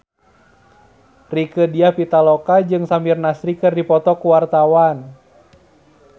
Rieke Diah Pitaloka jeung Samir Nasri keur dipoto ku wartawan